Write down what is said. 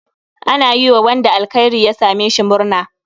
Ana iya yiwa wanda alkhairi ya same shi murna.